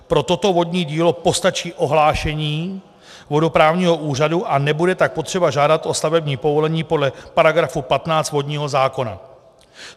Pro toto vodní dílo postačí ohlášení vodoprávního úřadu a nebude tak potřeba žádat o stavební povolení podle § 15 vodního zákona.